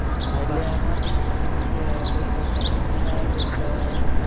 હા એએએટલે એમાં કેવું હોય હતું કે કંઈક ટપુસેનાએ કંઈક